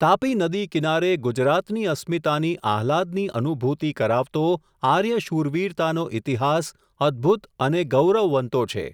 તાપી નદી કિનારે ગુજરાતની અસ્મિતાની આહલાદની અનુભૂતિ કરાવતો આર્ય શૂરવીરતાનો ઈતિહાસ, અદ્ભુત અને ગૌરવવંતો છે.